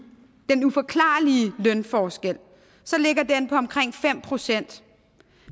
lønforskel ligger den på omkring fem procent